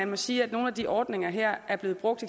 må sige at nogle af de ordninger her er blevet brugt